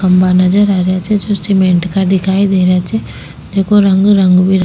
खम्भा नजर आ रेहा छे जो सीमेंट का दिखाई दे रा छे जेको रंग रंग बिरंगो --